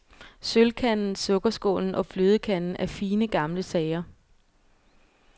Sølvkanden, sukkerskålen og flødekanden er fine gamle sager.